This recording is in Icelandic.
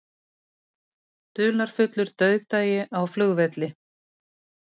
Dularfullur dauðdagi á flugvelli